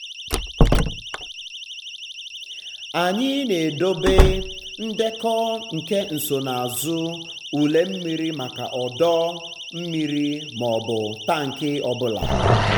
anyị na-edobe um ndekọ nke nsonaazụ um ule mmiri maka ọdọ um mmiri maọbụ tank ọ bụla.